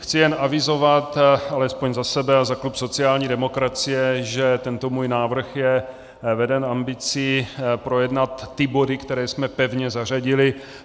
Chci jen avizovat, alespoň za sebe a za klub sociální demokracie, že tento můj návrh je veden ambicí projednat ty body, které jsme pevně zařadili.